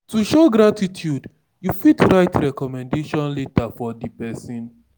To show gratitude you fit write recommendation letter for di person